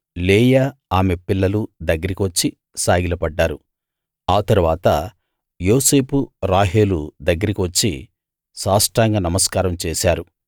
లేయా ఆమె పిల్లలూ దగ్గరికి వచ్చి సాగిలపడ్డారు ఆ తరువాత యోసేపూ రాహేలు దగ్గరికి వచ్చి సాష్టాంగ నమస్కారం చేశారు